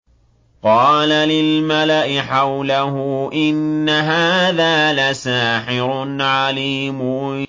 قَالَ لِلْمَلَإِ حَوْلَهُ إِنَّ هَٰذَا لَسَاحِرٌ عَلِيمٌ